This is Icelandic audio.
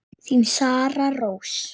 Þín, Sara Rós.